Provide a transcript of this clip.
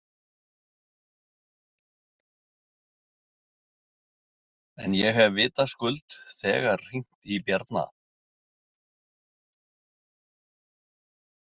En ég hef vitaskuld þegar hringt í Bjarna.